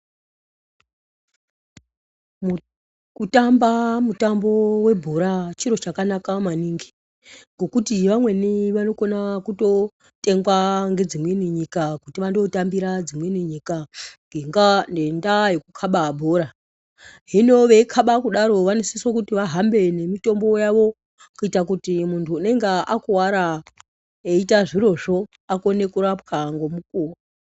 Kutamba mutambo webhoraa chiro chakanaka maningi, ngokuti vamweni vanokona kutotengwa nedzimweni nyika, kuti vandotambiraa dzimweni nyika ngendaa yekukaba bhoraa. Hino veikaba kudaro vanosiswee kuti vahambe nemitombo yavo kuita kuti muntu unenge akuvara eiita zvirozvoo akone kurapwa nomukovo.